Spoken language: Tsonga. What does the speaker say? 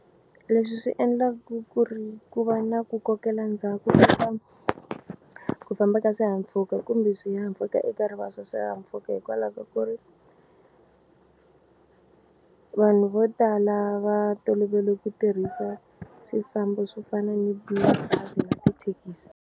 Leswi swi endlaku ku ri ku va na ku kokela ndzhaku ku famba ka swihahampfhuka kumbe swihahampfhuka eka rivala ra swihahampfhuka hikwalaho ka ku ri vanhu vo tala va tolovele ku tirhisa swifambo swo fana ni mabazi na tithekisi.